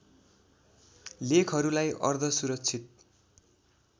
लेखहरूलाई अर्ध सुरक्षित